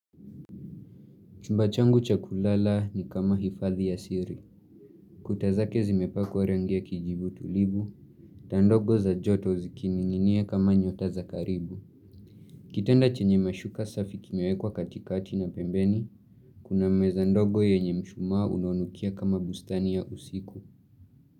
Chumba changu cha kulala ni kama hifadhi ya siri. Kuta zake zimepakwa rangi ya kijivu tulivu, taa ndogo za joto zikininginia kama nyota za karibu. Kitanda chenye mashuka safi kimewekwa katikati na pembeni, kuna meza ndogo yenye mshumaa unonukia kama bustani ya usiku.